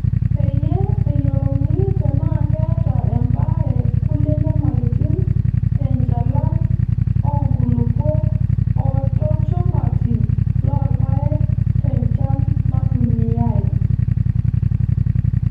Peeyiee eyiolouni tenaa keeta embaare kulie nyamalitin te nchalan oo nkulupuok o tolchumati loo rpayek o tenchan naitumiyaei.